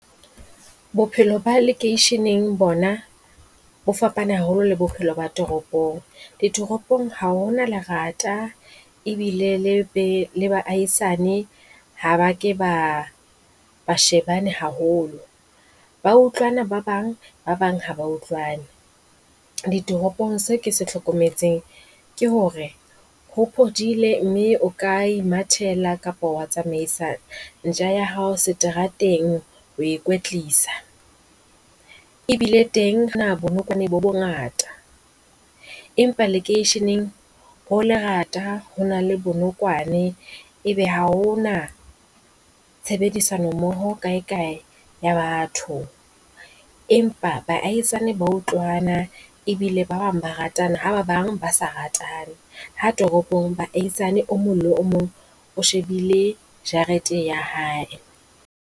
Bophelo ba lekeisheneng bona bo fapane haholo le bophelo ba toropong, ditoropong ha ho na lerata ebile le be le baahisane ha ba ke ba ba shebane haholo. Ba utlwana ba bang ba bang ha ba utlwane, ditoropong se ke se hlokometseng ke hore ho phodile mme o ka imathela, kapa wa tsamaisa ntja ya hao seterateng ho e kwetlisa. Ebile teng bonokwane bo bongata, empa lekeisheneng ho lerata ho na le bonokwane e be ha ho na tshebedisano mmoho kae kae ya batho. Empa baahisane ba utlwana ebile ba bang ba ratana ha ba bang ba sa ratane, ha toropong Baahisani o mong le o mong o shebile jarete ya hae.